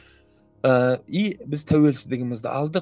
ыыы и біз тәуелсіздігімізді алдық